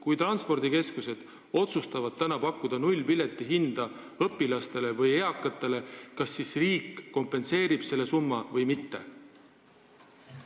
Kui transpordikeskused otsustavad täna pakkuda nullhinnaga piletit õpilastele või eakatele, kas siis riik kompenseerib selle summa või mitte?